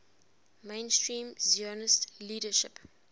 mainstream zionist leadership